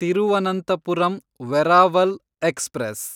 Thiruvananthapuram Veraval express